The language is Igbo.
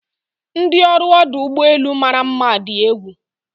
ndi ọrụ ọdụ ụgbọ elu mara mma di egwu